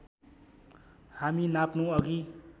हामी नाप्नु अघि